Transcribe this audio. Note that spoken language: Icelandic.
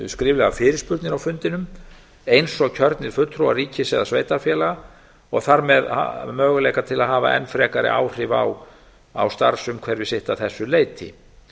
skriflegar fyrirspurnir á fundinum eins og kjörnir fulltrúar ríkis eða sveitarfélaga og þar með möguleika til að hafa enn frekari áhrif á starfsumhverfi sitt að þessu leyti